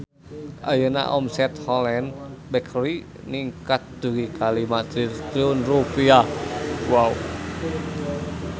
Ayeuna omset Holland Bakery ningkat dugi ka 5 triliun rupiah